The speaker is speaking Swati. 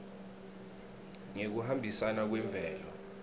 ngekuhambisana kwemvelo